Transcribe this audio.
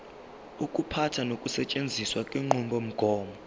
ukuphatha nokusetshenziswa kwenqubomgomo